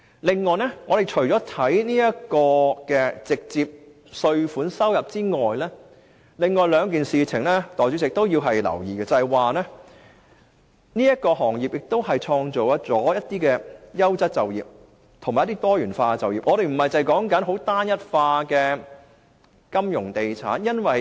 另外，除了直接稅收外，代理主席，另外值得留意的是這行業會創造一些優質及多元化的就業職位，令香港不僅只有單一化的金融地產職位。